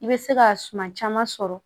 I bɛ se ka suma caman sɔrɔ